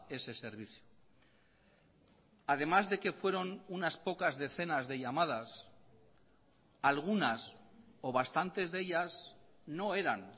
ese servicio además de que fueron unas pocas decenas de llamadas algunas o bastantes de ellas no eran